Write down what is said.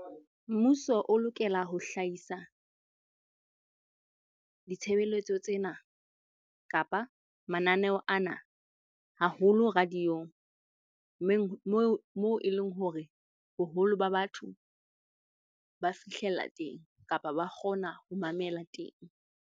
Mmuso o lokela ho hlahisa ditshebeletso tsena kapa mananeo ana haholo radio-ong moo e leng hore boholo ba batho ba fihlella teng kapa ba kgona ho mamela teng.